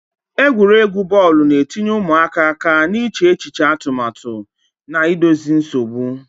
Egwuregwu bọọlụ na-etinye ụmụaka aka n'iche echiche atụmatụ na idozi nsogbu,